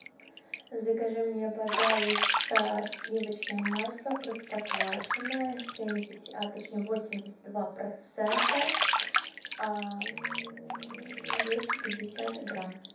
закажи мне пожалуйста сливочное масло простоквашино семьдесят а точнее восемьдесят два процента двести пятьдесят грамм